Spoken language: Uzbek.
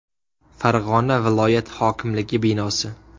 Farg‘ona viloyat hokimligi binosi.